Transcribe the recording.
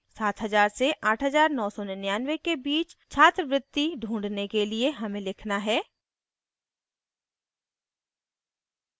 7000 से 8999 के बीच छात्रवृत्ति ढूँढने के लिए हमें लिखना है: